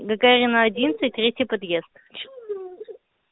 гагарина одинадцать третий подъезд